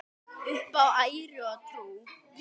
Upp á æru og trú.